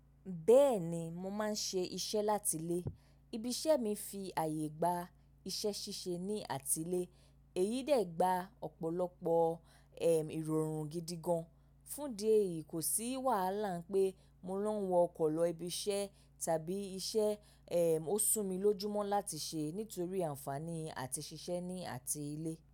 Bẹ́ẹ̀ni, mo máa ń ṣe iṣẹ́ láti ilé. Ibi iṣẹ́ mi fi àyè gba iṣẹ́ ṣíṣe ní àti ilé, èyí dẹ̀ gba ọ̀pọ̀lọpọ̀ ẹ ìrọ̀rùn gidi gan. Fún di èyí, kò sí wàhálà pé mo lọ ń wọ ọkọ̀ lọ ibi iṣẹ́ tàbí iṣẹ́ ẹ ò sún mi lójúmọ́ láti ṣe nítorí ànfàní àti ṣiṣẹ́ ní àti ilé.